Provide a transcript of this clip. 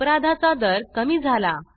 अपराधाचा दर कमी झाला